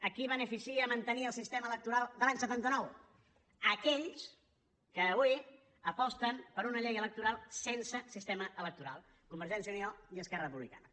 a qui beneficia mantenir el sistema electoral de l’any setanta nou a aquells que avui aposten per una llei electoral sense sistema electoral convergència i unió i esquerra republicana